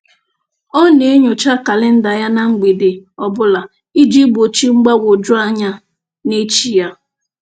Ọ na-enyocha kalịnda ya na mgbede ọbụla iji gbochi mgbagwoju anya n'echi ya.